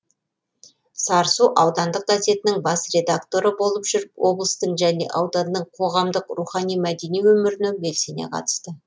сарысу аудандық газетінің бас редакторы болып жүріп облыстың және ауданның қоғамдық рухани мәдени өміріне белсене қатысты